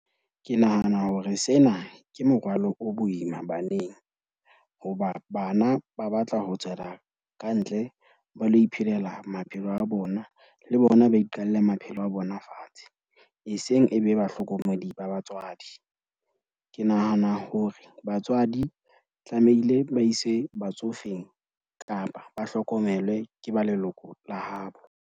Ke nahana hore sena ke morwalo o boima baneng. Hoba bana ba batla ho tswela kantle ba lo iphelela maphelo a bona, le bona ba iqalle maphelo a bona fatshe. Eseng e be bahlokomedi ba batswadi. Ke nahana hore batswadi tlamehile ba ise batsofeng kapa ba hlokomelwe ke ba leloko la habo.